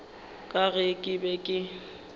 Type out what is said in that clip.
ka ge ke be ke